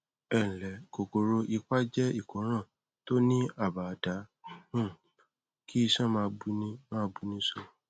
ẹ ǹlẹ kòkòrò ipá jẹ ìkóràn tó ní àbaùdá um kí iṣan máa buni máa buni so